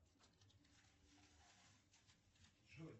джой